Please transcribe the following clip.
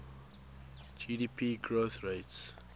gdp growth rates